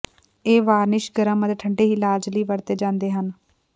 ਇਹ ਵਾਰਨਿਸ਼ ਗਰਮ ਅਤੇ ਠੰਡੇ ਇਲਾਜ ਲਈ ਵਰਤੇ ਜਾਂਦੇ ਹਨ